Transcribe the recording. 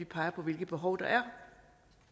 peger på hvilke behov det er